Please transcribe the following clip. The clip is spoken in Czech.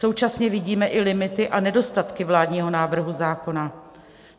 Současně vidíme i limity a nedostatky vládního návrhu zákona.